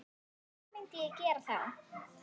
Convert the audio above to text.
Hvað myndi hann gera þá?